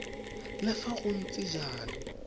le fa go ntse jalo